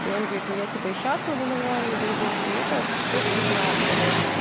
и он говорит ну я типо сейчас могу нормально дружить мне кажется что это неправда